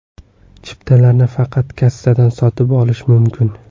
Chiptalarni faqat kassadan sotib olish mumkin.